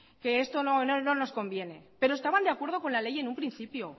que esto no nos conviene pero estaban de acuerdo con la ley en un principio